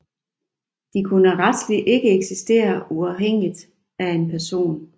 De kunne retsligt ikke eksistere uafhængigt af en person